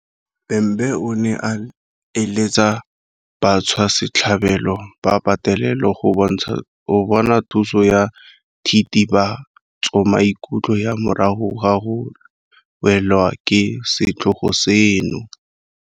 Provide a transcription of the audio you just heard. Bhembe o ne a eletsa batswasetlhabelo ba petelelo go bona thuso ya thitibatsomaikutlo ya morago ga go welwa ke setlhogo seno.